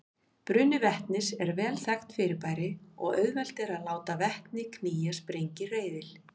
Bruni vetnis er vel þekkt fyrirbæri og auðvelt er að láta vetni knýja sprengihreyfil.